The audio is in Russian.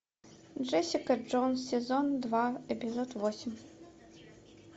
джессика джонс сезон два эпизод восемь